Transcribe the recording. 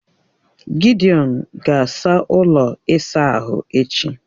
Gidiọn ga-asaa ụlọ ịsa ahụ echi